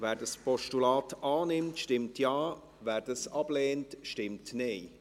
Wer dieses Postulat annimmt, stimmt Ja, wer es ablehnt, stimmt Nein.